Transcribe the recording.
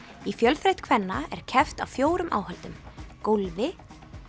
í fjölþraut kvenna er keppt á fjórum áhöldum gólfi